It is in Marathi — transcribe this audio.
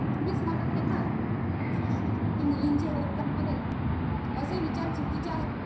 तुम्हीच म्हणत आहे ना. कि मुलींची चूक असते म्हणून. असे विचार चुकीचे आहे.